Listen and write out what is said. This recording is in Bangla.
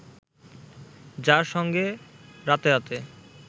যার সঙ্গে রাতে রাতে